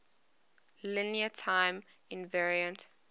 linear time invariant